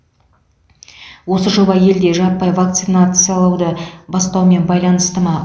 осы жоба елде жаппай вакциналауды бастаумен байланысты ма